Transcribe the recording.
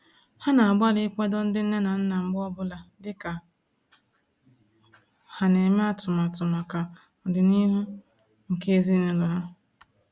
Ha na-agbalị ikwado ndị nne na nna mgbe ọ bụla dịka ha na-eme atụmatụ maka ọdịnihu nke ezinaụlọ ha